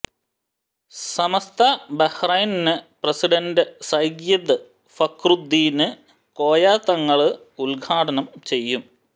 സമസ്ത Bahrain president Sayyid Fakhruddin Koya Thangal ഉദ്ഘാടനം ചെയ്യും